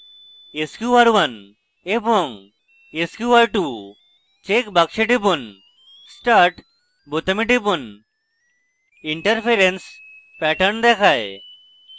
sqr1 এবং sqr2 check বাক্সে টিপুন start বোতামে টিপুন interference pattern দেখায়